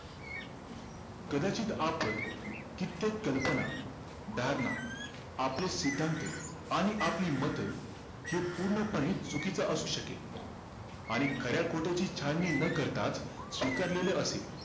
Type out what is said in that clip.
कदाचित आपण कित्येक कल्पना धारणा आपले सिद्धांत आणि आपली मत हे पूर्णपणे चुकीचं असू शकेल आणि खऱ्याखोट्याची छाननी ना करताच स्वीकारलेले असेल